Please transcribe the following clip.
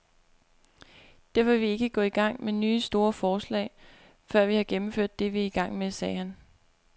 Derfor vil vi ikke gå i gang med nye store forslag, før vi har gennemført det, vi er i gang med, sagde han.